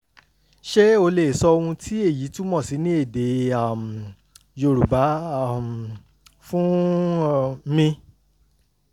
ṣé o lè sọ ohun tí èyí túmọ̀ sí ní èdè um yorùbá um fún um mi?